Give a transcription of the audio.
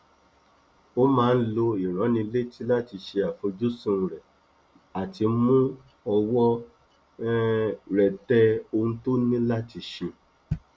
ó máa ń lo ìránnilétí láti ṣe àfojúsùn rẹ àti mú ọwọ um rẹ tẹ ohun tó ní láti ṣe